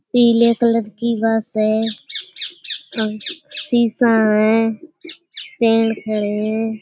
पीले कलर की बस है अ शीशा है पेड़ है।